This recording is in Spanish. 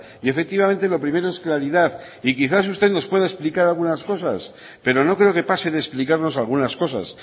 y efectivamente lo primero es claridad y quizás usted nos pueda explicar algunas cosas pero no creo que pase de explicarnos algunas cosas